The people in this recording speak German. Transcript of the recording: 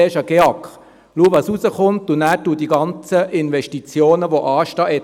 «Mach zuerst einmal einen GEAK, schau was herauskommt, und dann etappiere die ganzen Investitionen, die anstehen.